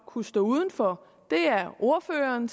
kunne stå uden for det er ordføreren